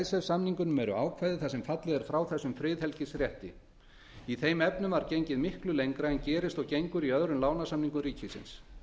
í icesave samningunum eru ákvæði þar sem fallið er frá þessum friðhelgisrétti í þeim efnum var gengið miklu lengra en gerist og gengur í öðrum lánasamningum ríkisins